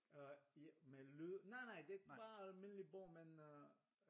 Øh ja med lyd nej nej det bare almindelig bog men øh